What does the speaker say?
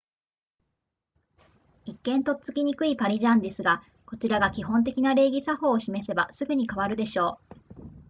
一見とっつきにくいパリジャンですがこちらが基本的な礼儀作法を示せばすぐに変わるでしょう